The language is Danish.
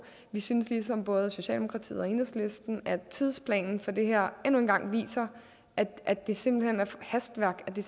vi synes ligesom både socialdemokratiet og enhedslisten at tidsplanen for det her endnu en gang viser at det simpelt hen er hastværk at det